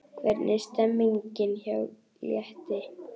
Hvernig er stemningin hjá Létti?